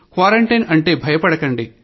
quarantine అంటే భయపడకండి